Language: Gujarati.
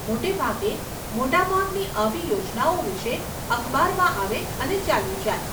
મોટે ભાગે, મોટા ભાગની આવી યોજનાઓ વિષે અખબારમાં આવે અને ચાલ્યું જાય.